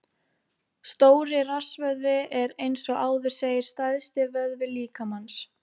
Stóri rassvöðvi er, eins og áður segir, stærsti vöðvi líkamans.